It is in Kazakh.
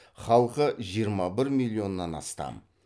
халқы жиырма бір миллионнан астам